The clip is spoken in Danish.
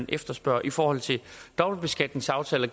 efterspørges i forhold til dobbeltbeskatningsaftaler